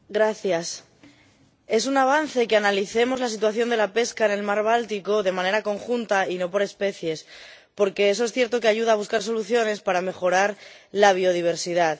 Señora Presidenta, es un avance que analicemos la situación de la pesca en el mar Báltico de manera conjunta y no por especies, porque eso es cierto que ayuda a buscar soluciones para mejorar la biodiversidad.